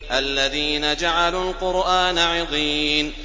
الَّذِينَ جَعَلُوا الْقُرْآنَ عِضِينَ